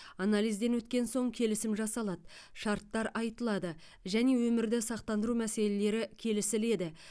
анализден өткен соң келісім жасалады шарттар айтылады және өмірді сақтандыру мәселелері келісіледі